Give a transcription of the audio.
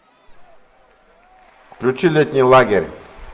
включи летний лагерь